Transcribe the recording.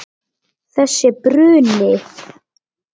Þessi bruni.